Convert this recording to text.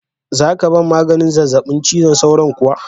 Za ka ban maganin zazzabi cizon sauron kuwa?